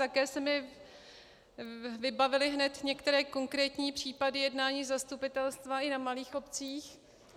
Také se mi vybavily hned některé konkrétní případy jednání zastupitelstva i na malých obcích.